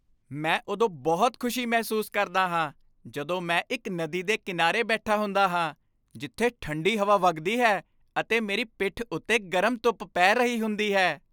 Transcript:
ਮੈਂ ਉਦੋਂ ਬਹੁਤ ਖੁਸ਼ੀ ਮਹਿਸੂਸ ਕਰਦਾ ਹਾਂ ਜਦੋਂ ਮੈਂ ਇੱਕ ਨਦੀ ਦੇ ਕਿਨਾਰੇ ਬੈਠਾ ਹੁੰਦਾ ਹਾਂ ਜਿੱਥੇ ਠੰਡੀ ਹਵਾ ਵਗਦੀ ਹੈ ਅਤੇ ਮੇਰੀ ਪਿੱਠ ਉੱਤੇ ਗਰਮ ਧੁੱਪ ਪੈ ਰਹੀ ਹੁੰਦੀ ਹੈ।